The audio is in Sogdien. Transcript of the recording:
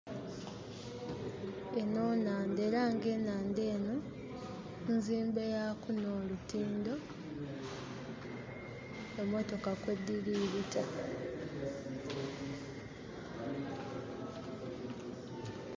Eno nnandha era nga enandha eno nzimbe yaku nolutindo emotoka kwediri bita